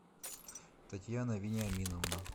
татьяна вениаминовна